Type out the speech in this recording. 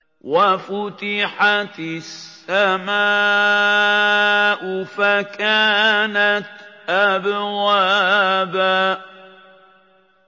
وَفُتِحَتِ السَّمَاءُ فَكَانَتْ أَبْوَابًا